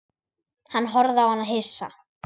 Hann horfði á hana hissa.